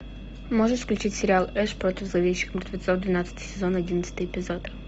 можешь включить сериал эш против зловещих мертвецов двенадцатый сезон одиннадцатый эпизод